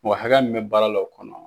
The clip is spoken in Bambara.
Mɔgɔ hakɛya min bɛ baara la o kɔnɔ.